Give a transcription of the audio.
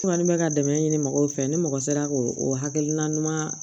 Kuma ni bɛ ka dɛmɛ ɲini mɔgɔw fɛ ni mɔgɔ sera k'o o hakilina ɲuman